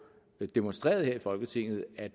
demonstreret her i folketinget at